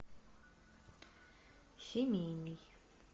семейный